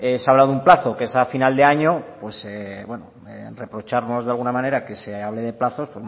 se habla de un plazo que es a final de año pues reprocharnos de alguna manera que se hable de plazos